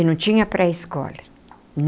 E não tinha pré-escola.